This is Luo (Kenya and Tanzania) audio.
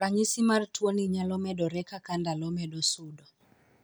Ranyisi mar tuo ni nyalo medore kaka ndalo medo sudo.